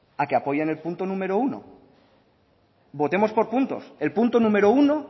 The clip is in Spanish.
a que apoyen el punto número uno votemos por puntos el punto número uno